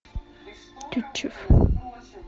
тютчев